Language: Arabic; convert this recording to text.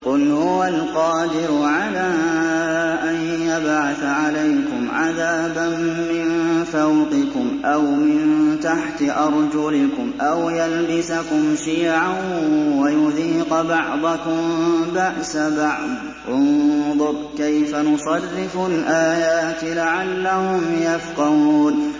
قُلْ هُوَ الْقَادِرُ عَلَىٰ أَن يَبْعَثَ عَلَيْكُمْ عَذَابًا مِّن فَوْقِكُمْ أَوْ مِن تَحْتِ أَرْجُلِكُمْ أَوْ يَلْبِسَكُمْ شِيَعًا وَيُذِيقَ بَعْضَكُم بَأْسَ بَعْضٍ ۗ انظُرْ كَيْفَ نُصَرِّفُ الْآيَاتِ لَعَلَّهُمْ يَفْقَهُونَ